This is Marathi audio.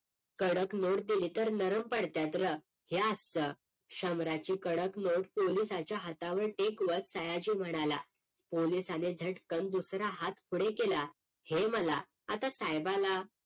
कडक नोट दिले तर नरम पडत्यात र हे असत शंभराची कडक नोट पोलिसाच्या हातावर टेकवत सयाजी म्हणाला पोलिसाने झटकन दुसरा हात पुढे केला हे मला आता साहेबाला